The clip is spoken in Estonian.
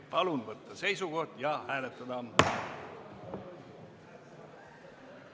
Palun võtta seisukoht ja hääletada!